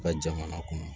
Ka jamana kɔnɔ